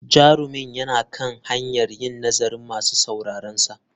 Jarumin yana kan hanyar yin nazarin masu sauraronsa.